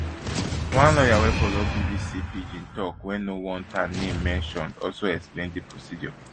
one lawyer wey follow bbc pidgin tok wey no want her name mentioned also explain di procedure